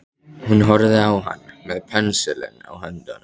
Hún horfði á hann með pensilinn í höndunum.